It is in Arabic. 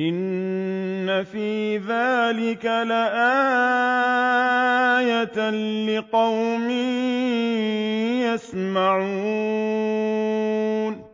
إِنَّ فِي ذَٰلِكَ لَآيَةً لِّقَوْمٍ يَسْمَعُونَ